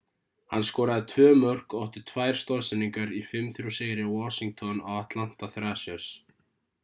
hann skoraði tvö mörk og átti tvær stoðsendingar í 5-3 sigri washington á atlanta thrashers